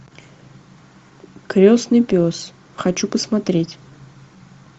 крестный пес хочу посмотреть